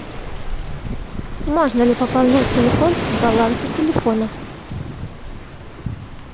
можно ли пополнять телефон с баланса телефона